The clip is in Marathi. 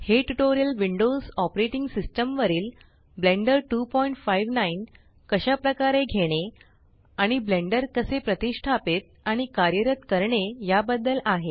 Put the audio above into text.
हे ट्यूटोरियल विंडोस ऑपरेटिंग सिस्टम वरील ब्लेंडर 259 कशा प्रकारे घेणे आणि ब्लेंडर कसे प्रतीष्टापीत आणि कार्यरत करणे या बद्दल आहे